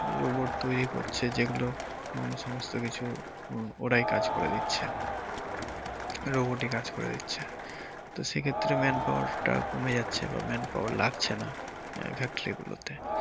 robot তৈরি করছে যেগুলো উম সমস্ত কিছু ওরাই কাজ করে দিচ্ছে robot ই কাজ করে দিচ্ছে তো সেক্ষেত্রে manpower টা কমে যাচ্ছে বা লাগছে না আহ factory গুলোতে